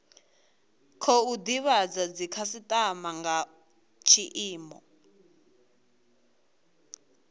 khou divhadza dzikhasitama nga tshiimo